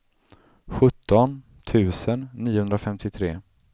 sjutton tusen niohundrafemtiotre